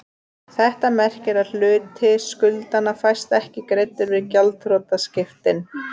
Þetta merkir að hluti skuldanna fæst ekki greiddur við gjaldþrotaskiptin.